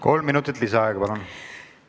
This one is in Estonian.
Kolm minutit lisaaega, palun!